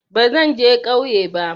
Bazan je kauye ba